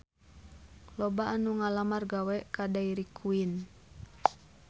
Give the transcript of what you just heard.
Loba anu ngalamar gawe ka Dairy Queen